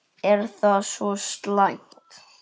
Er það svo slæmt?